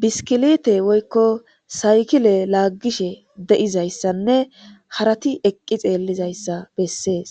biskilite woykko saykile laaggishe de7izayssanne harati eqqi xeellizayssa bessees